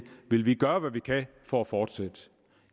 vil vi gøre hvad vi kan for at fortsætte